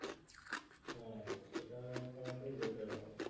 সেটা করাটাই better হবে